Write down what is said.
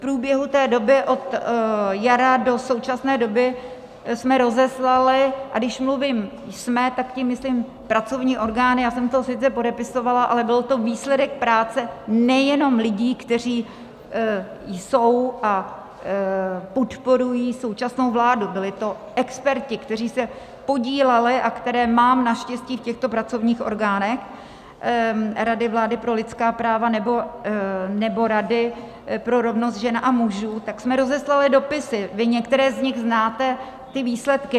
V průběhu té doby od jara do současné doby jsme rozeslali, a když mluvím jsme, tak tím myslím pracovní orgány, já jsem to sice podepisovala, ale byl to výsledek práce nejenom lidí, kteří jsou a podporují současnou vládu, byli to experti, kteří se podíleli a které mám naštěstí v těchto pracovních orgánech Rady vlády pro lidská práva nebo Rady pro rovnost žen a mužů, tak jsme rozeslali dopisy, vy některé z nich znáte, ty výsledky.